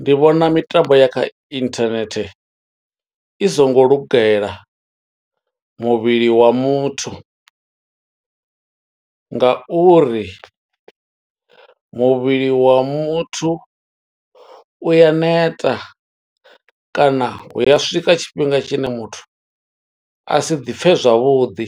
Ndi vhona mitambo ya kha internet, i songo lugela muvhili wa muthu nga uri muvhili wa muthu u ya neta, kana hu ya swika tshifhinga tshine muthu a si ḓi pfe zwavhuḓi,